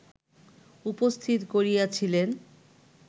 উপস্থিত করিয়াছিলেন